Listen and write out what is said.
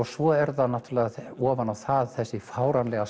svo ofan á það þessi fáránlega